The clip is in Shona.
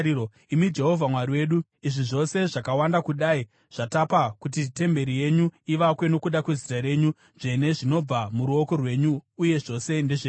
Imi Jehovha, Mwari wedu, izvi zvose zvakawanda kudai zvatapa kuti temberi yenyu ivakwe nokuda kweZita renyu Dzvene zvinobva muruoko rwenyu uye zvose ndezvenyu.